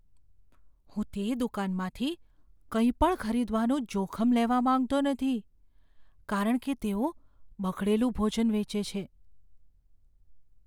હું તે દુકાનમાંથી કંઈપણ ખરીદવાનું જોખમ લેવા માંગતો નથી કારણ કે તેઓ બગડેલું ભોજન વેચે છે.